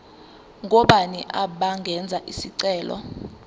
ngobani abangenza isicelo